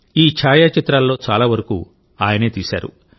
ఈ ఛాయాచిత్రాల్లో చాలా వరకు ఆయనే తీశారు